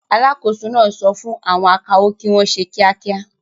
Alákòóso náà sọ fún àwọn akawó kí wọ́n ṣe kíákíá.